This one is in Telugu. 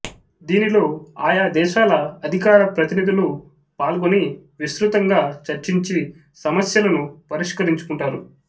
దీనిలో ఆయా దేశాల అధికార ప్రతినిధులు పాల్గొని విస్తృతంగా చర్చించి సమస్యలను పరిష్కరించుకుంటారు